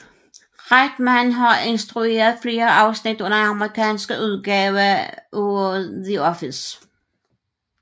Reitman har instrueret flere afsnit af den amerikanske udgave af The Office